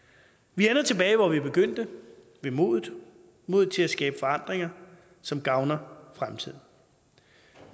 vi ender tilbage hvor vi begyndte ved modet modet til at skabe forandringer som gavner fremtiden